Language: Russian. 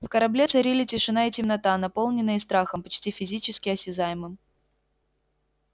в корабле царили тишина и темнота наполненные страхом почти физически осязаемым